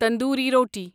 تندوری روٹی